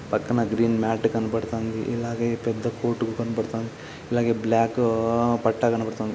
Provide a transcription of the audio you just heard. పక్కన green mat కనబడుతంది. ఇలాగే పెద్ద కోర్ట్ కనబడుతంది. ఇలాగే బ్లాకు బట్ట కనబడుతుంది.